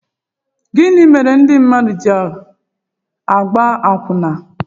Gịnị mere ndị mmadụ ji àgbá àkwụnà?